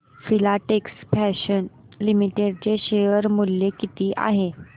Filatex Fashions Limited चे share मूल्य किती आहे